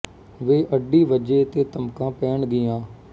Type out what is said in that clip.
ਵੇ ਅੱਡੀ ਵੱਜੇ ਤੇ ਧਮਕਾਂ ਪੈਣ ਗੀ ਆਂ